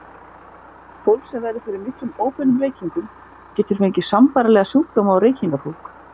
Fólk sem verður fyrir miklum óbeinum reykingum getur fengið sambærilega sjúkdóma og reykingafólk.